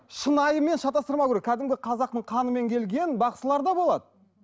шынайымен шатастырмау керек кәдімгі қазақтың қанымен келген бақсылар да болады